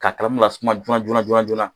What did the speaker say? K'a kalamu lasuma joona joona joona.